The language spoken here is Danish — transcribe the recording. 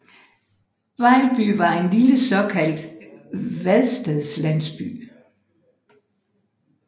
Vejlby var en lille såkaldt vadestedslandsby